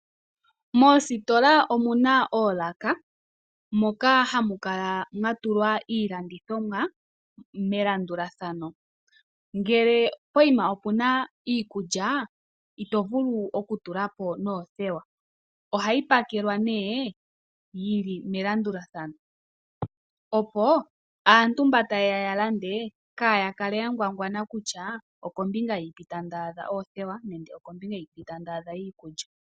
Moositola omu na oolaka moka hamu kala mwa tulwa iilandithomwa melandulathano. Ngele pokuma opu na iikulya ito vulu okutula po noothewa. Ohayi pakelwa nduno yi li melandulathano, opo aantu mboka taye ya ya lande kaya kale ya ngwangwana kutya okombinga yini ta adha oothewa nenge okombinga yini ta adha iikulya.